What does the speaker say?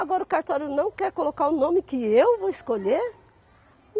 Agora o cartório não quer colocar o nome que eu vou escolher?